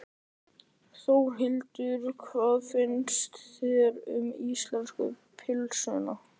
Þórhildur: Hvað finnst þér um íslensku pylsuna?